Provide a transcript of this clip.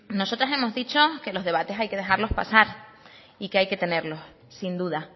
nosotras hemos dicho que los debates hay que dejarlo pasar y que hay que tenerlos sin duda